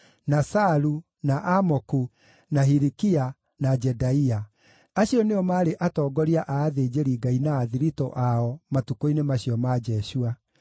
na Salu, na Amoku, na Hilikia, na Jedaia. Acio nĩo maarĩ atongoria a athĩnjĩri-Ngai na athiritũ ao, matukũ-inĩ macio ma Jeshua.